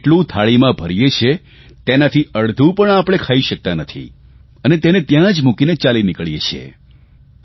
જેટલું થાળીમાં ભરીએ છીએ એનાથી અડધું પણ આપણે ખાઇ શકતા નથી અને તેને ત્યાં જ મૂકીને ચાલી નીકળીએ છીએ